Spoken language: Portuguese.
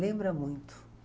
Lembra muito.